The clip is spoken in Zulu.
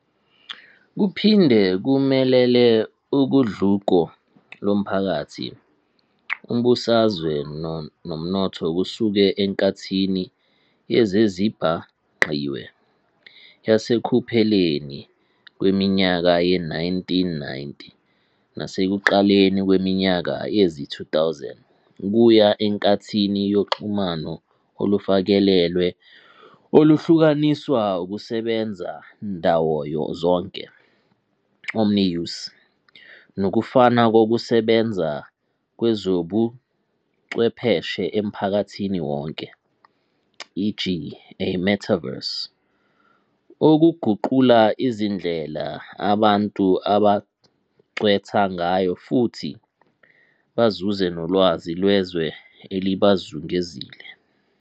Kuphinde kumelele ugudluko lomphakathi, umbusazwe nomnotho kusuka enkathini yezezibhangqiwe yasekupheleni kweminyaka ye-1990 nasekuqaleni kweminyaka yezi-2000 kuya enkathini yoxhumano olufakelelwe oluhlukaniswa ukusebenza-ndawozonke "omni-use" nokufana kokusebenza kwezobuchwepheshe emphakathini wonke, e.g. a metaverse, okuguqula izindlela abantu abangcwetha ngayo futhi bazuze nolwazi lwezwe elibazungezile.